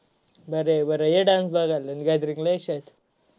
बर आहे बर आहे gathering ला ये शाळेत.